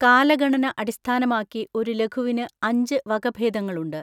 കാലഗണന അടിസ്ഥാനമാക്കി ഒരു ലഘുവിന് അഞ്ച് വകഭേദങ്ങളുണ്ട്.